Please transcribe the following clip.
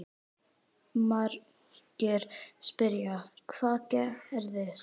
Margir spyrja: Hvað gerðist?